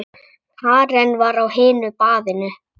Karen var á hinu baðinu.